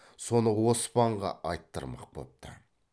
соны оспанға айттырмақ бопты